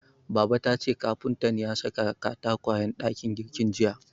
Baba tace kafuntan ya saka katakwayen dakin girkin jiya.